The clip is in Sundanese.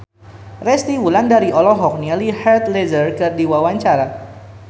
Resty Wulandari olohok ningali Heath Ledger keur diwawancara